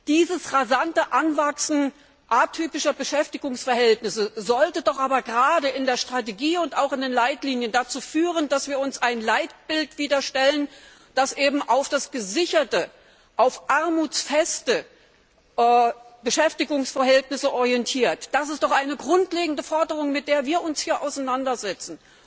Dieses rasante Anwachsen atypischer Beschäftigungsverhältnisse sollte doch aber gerade in der Strategie und auch in den Leitlinien dazu führen, dass wir uns wieder ein Leitbild stellen, das auf gesicherte und armutsfeste Beschäftigungsverhältnisse hin orientiert. Das ist doch eine grundlegende Forderung, mit der wir uns hier auseinandersetzen!